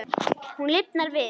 Hún lifnar við.